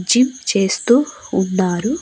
Gym చేస్తూ ఉన్నారు.